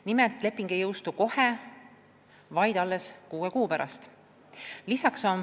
Nagu öeldud, leping ei jõustu kohe, vaid alles kuue kuu pärast.